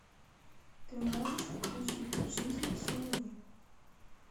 ты можешь включить жизнь с луи